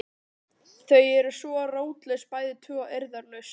Þau eru svo rótlaus bæði tvö og eirðarlaus.